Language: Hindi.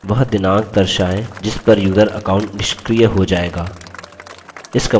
वह दिनांक दर्शायें जिस पर यूजर account निष्क्रिय हो जायेगा